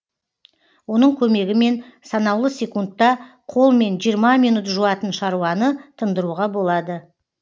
оның көмегімен санаулы секундта қолмен жиырма минут жуатын шаруаны тындыруға болады